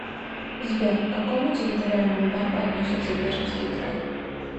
сбер к какому территориальному банку относится пермский край